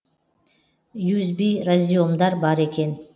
юзби разъемдар бар екен